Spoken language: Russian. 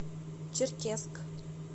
черкесск